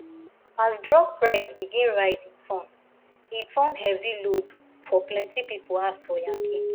as drug price begin rise e turn e turn heavy load for plenty people house for yankee